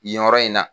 Yen yɔrɔ in na